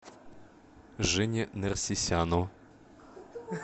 жене нерсисяну